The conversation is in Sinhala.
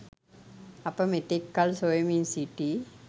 අප මෙතෙක් කල් සොයමින් සිටි